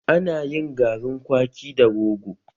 Ana yin garin kwaki da rogo